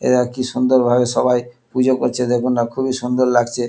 এরা কি সুন্দর ভাবে সবাই পুজো করছে দেখুন না খুবই সুন্দর লাগছে।